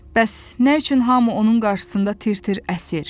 Bəs nə üçün hamı onun qarşısında tir-tir əsir?